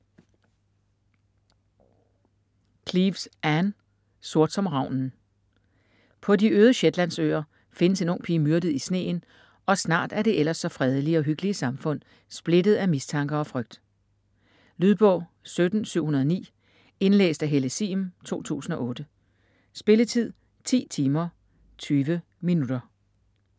Cleeves, Ann: Sort som ravnen På de øde Shetlandsøer findes en ung pige myrdet i sneen, og snart er det ellers så fredelige og hyggelige samfund splittet af mistanker og frygt. Lydbog 17709 Indlæst af Helle Sihm, 2008. Spilletid: 10 timer, 20 minutter.